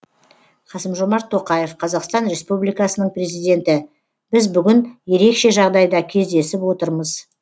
қасым жомарт тоқаев қазақстан республикасының президенті біз бүгін ерекше жағдайда кездесіп отырмыз